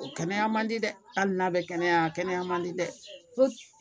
O kɛnɛya man di dɛ hali n'a bɛ kɛnɛya a kɛnɛya man di dɛ